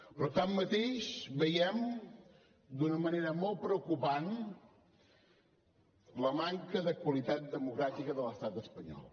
però tanmateix veiem d’una manera molt preocupant la manca de qualitat democràtica de l’estat espanyol